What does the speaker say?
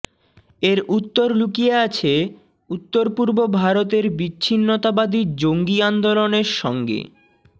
এর উত্তর লুকিয়ে আছে উত্তরপূর্ব ভারতের বিচ্ছিন্নতাবাদী জঙ্গি আন্দোলনের সঙ্গে